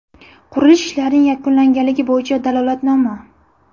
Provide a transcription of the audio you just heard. Qurilish ishlarining yakunlanganligi bo‘yicha dalolatnoma.